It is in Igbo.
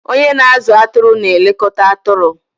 Onye na-azụ atụrụ na-elekọta atụrụ.